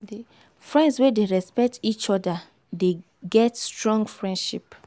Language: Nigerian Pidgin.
friends wey dey respect each oda dey get strong friendship.